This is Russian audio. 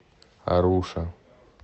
аруша